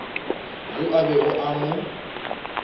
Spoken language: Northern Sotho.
yo a bego a mo